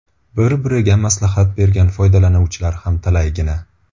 Bir-biriga maslahat bergan foydalanuvchilar ham talaygina.